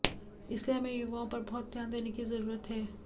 इसलिए हमें युवाओं पर बहुत ध्यान देने की ज़रूरत है